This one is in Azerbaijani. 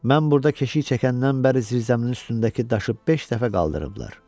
Mən burda keşiy çəkəndən bəri zirzəminin üstündəki daşı beş dəfə qaldırıblar.